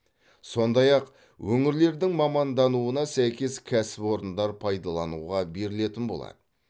сондай ақ өңірлердің мамандануына сәйкес кәсіпорындар пайдалануға берілетін болады